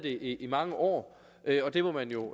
i mange år og det må man jo